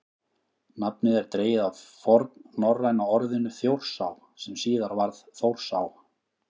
nafnið er dregið af fornnorræna orðinu „þjórsá“ sem síðar varð „þórsá“